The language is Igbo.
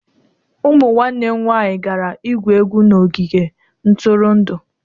Ụmụ nwanne m nwanyị gara igwu egwu n'ogige ntụrụndụ.